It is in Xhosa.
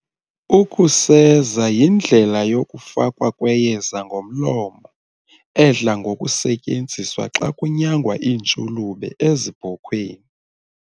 Ukuseza yindlela yokufakwa kweyeza ngomlomo edla ngokusetyenziswa xa kunyangwa iintshulube ezibhokhweni.